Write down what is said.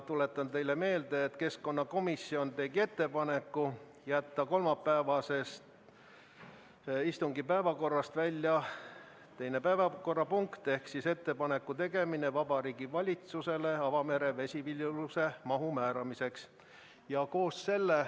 Tuletan teile meelde, et keskkonnakomisjon tegi ettepaneku jätta kolmapäevasest istungi päevakorrast välja teine punkt ehk Riigikogu otsuse "Ettepaneku tegemine Vabariigi Valitsusele avamere vesiviljeluse mahu määramiseks" eelnõu ...